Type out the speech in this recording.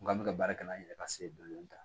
N k'an bɛ ka baara kɛ n'an yɛrɛ ka se dɔndɔni dɔni